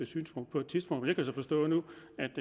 synspunkt på et tidspunkt men jeg kan så forstå nu